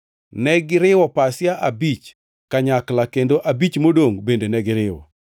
Negiriwo pasia abich kanyakla kendo abich modongʼ bende negiriwo.